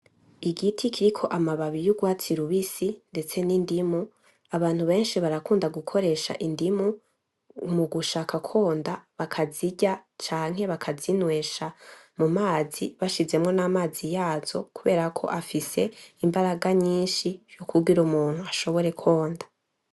Igiti kiriko amababi y'urwatsi rubisi ndetse n'indimu abantu beshi barakunda gukoresha indimu mugushaka konda bakazirya canke bakazinwesha mu mazi bashizemwo n'amazi yazo kuberako afise imbaraga nyishi kugira umuntu ashobore konda.